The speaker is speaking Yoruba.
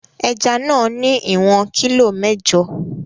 Ẹja náà ní ìwọ̀n kilo mẹ́jọ.